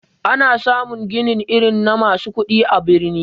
Ana samun ginin irin na masu kudi a birni.